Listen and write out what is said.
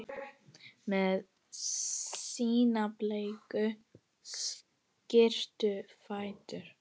Með sína bleiku, skrítnu fætur?